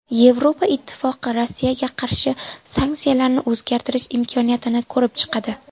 Yevropa Ittifoqi Rossiyaga qarshi sanksiyalarni o‘zgartirish imkoniyatini ko‘rib chiqadi .